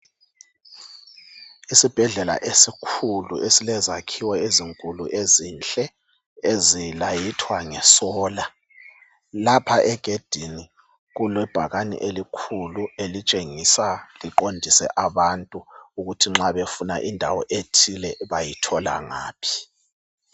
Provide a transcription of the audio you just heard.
Isibhedlela esikhulu esilezakhiwo ezinkulu ezinhle ezilayithwa ngesola. Lapha egedini kulebhakane elikhulu elitshengisa liqondise abantu ukuthi nxa befuna indawo ethile bayithola ngaphi.